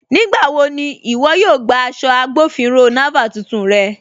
Nígbàwọ̀ ni iwọ̀ yóò gbà aṣọ̀ Agbọ̀finrọ̀ Naval tuntun rẹ̀?